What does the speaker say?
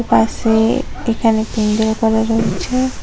পাশে এখানে পেন্ডেল করা রয়েছে।